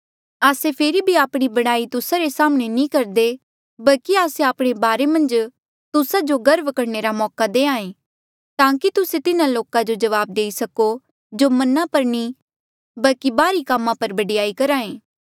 आस्से फेरी भी आपणी बड़ाई तुस्सा रे साम्हणें नी करदे बल्की आस्से आपणे बारे मन्झ तुस्सा जो गर्व करणे रा मौका देहां ऐें ताकि तुस्से तिन्हा लोका जो जवाब देई सको जो मना पर नी बल्की बाहरी कामा पर बडयाई करहा ऐें